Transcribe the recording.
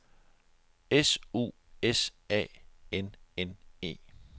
S U S A N N E